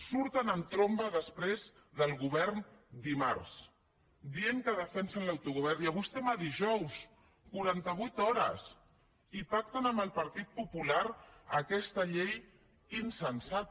surten en tromba després del govern dimarts dient que defensen l’autogovern i avui estem a dijous quaranta vuit hores i pacten amb el partit popular aquesta llei insensata